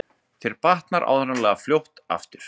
Þér batnar áreiðanlega fljótt aftur